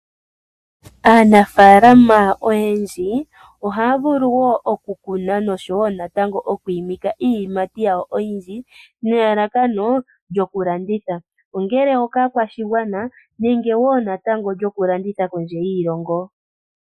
Aanafaalama oyendji ohaya vulu wo okukuna noshowo natango okwiimika iiyimati yawo nelalakano lyokulanditha , ongele okaakwashigwana nenge wo natango lyokulanditha kondje yiilongo.